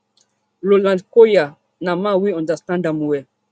roland collyer na man wey understand am well